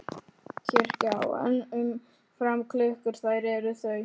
Kirkja á enn um fram klukkur þær er þau